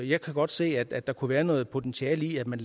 jeg kan godt se at der kunne være noget potentiale i at man